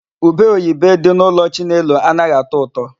Ubeoyibe dị n'ụlọ Chinelo anaghị atọ ụtọ.